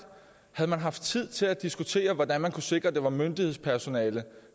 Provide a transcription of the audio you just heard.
havde man haft tid til at diskutere hvordan man kunne sikre at det var myndighedspersonale